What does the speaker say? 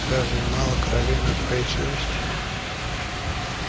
разве мало крови на твоей совести